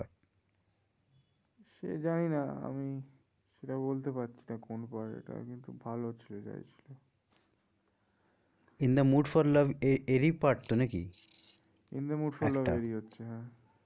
সে জানি না আমি সেটা বলতে পারছি না কোন part এটা কিন্তু ভালো ছিল যাই ছিল। in the mood for love এ এরই part তো নাকি? in the mood for love এরই হচ্ছে হ্যাঁ